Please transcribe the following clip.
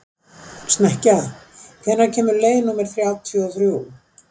Snekkja, hvenær kemur leið númer þrjátíu og þrjú?